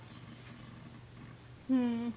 ਹਮ